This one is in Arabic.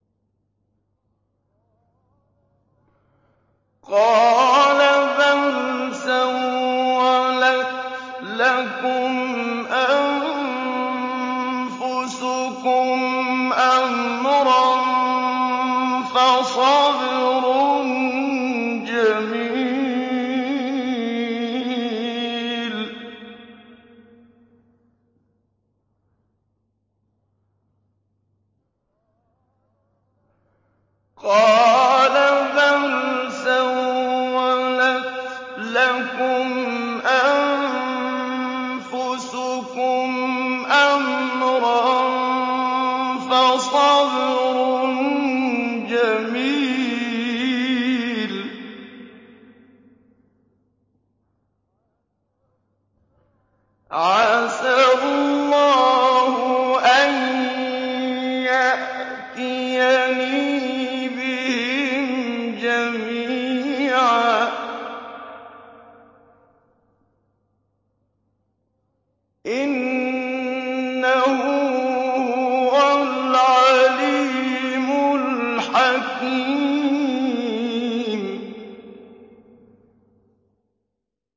قَالَ بَلْ سَوَّلَتْ لَكُمْ أَنفُسُكُمْ أَمْرًا ۖ فَصَبْرٌ جَمِيلٌ ۖ عَسَى اللَّهُ أَن يَأْتِيَنِي بِهِمْ جَمِيعًا ۚ إِنَّهُ هُوَ الْعَلِيمُ الْحَكِيمُ